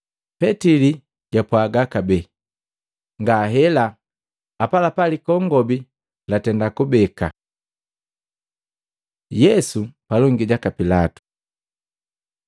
Petili japwaaga kabee, “Ngahela” Apalapa likongobi latenda kubeka. Yesu palongi jaka Pilatu Matei 27:1-2, 11-14; Maluko 15:1-5; Luka 23:1-5